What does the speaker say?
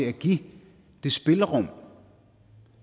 at give det spillerum